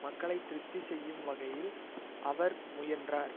மக்களை திருப்தி செய்யும் வகையில் அவர் முயன்றார்